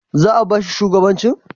Za'a ba shi shugabancin?